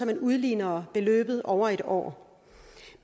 man udligner beløbet over en år